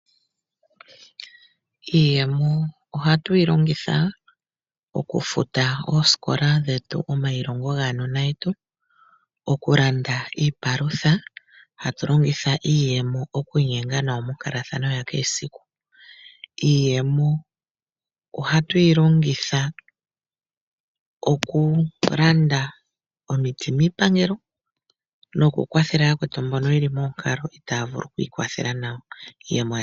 Iiyemo ohatu yi longitha oku futa oosikola dhetu, omayilongo gaanona yetu, okulanda iipalutha. Hatu longitha iiyemo okwiinyenga nawa monkalathano ya kehe esiku. Iiyemo oha tu yi longitha oku landa omiti miipangelo, noku kwathela yakwetu mbono yeli moonkalo itaa vulu okwii kwathela nawa.